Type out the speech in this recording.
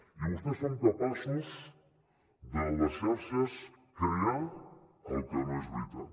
i vostès són capaços a les xarxes de crear el que no és veritat